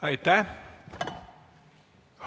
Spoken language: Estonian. Aitäh!